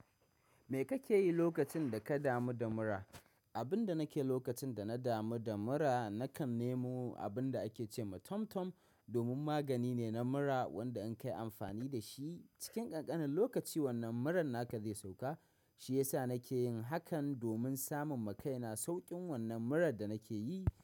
Me kake yi lokacin da ka damu da mura? Abin da nake yi lokacin da na damu da mura, nakan nemo abin da ake ce ma Tom-Tom domin magani ne na mura wanda in kai amfani da shi cikin ƙanƙanin lokaci wannan muran naka zai sauka. Shiyasa nake yin hakan domin samun makaina sauƙin wannan murar da nake yi.